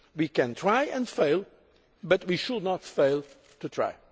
We can try and fail, but we should not fail to try.